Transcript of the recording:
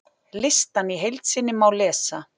Listann í heild sinni má lesa